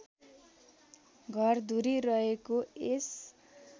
घरधुरी रहेको यस